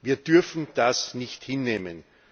Wir dürfen das nicht hinnehmen!